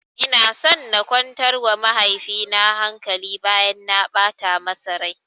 Ina so na kwantar wa mahaifi na hankali bayan na ɓata masa rai